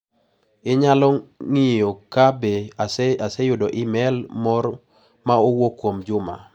Inyalo ng'iyo ka be aseyudo imel moro ma owuok kuom Juma.